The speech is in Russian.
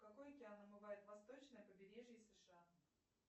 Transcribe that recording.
какой океан омывает восточное побережье сша